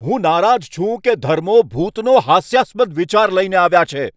હું નારાજ છું કે ધર્મો ભૂતનો હાસ્યાસ્પદ વિચાર લઈને આવ્યા છે.